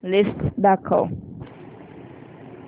list दाखव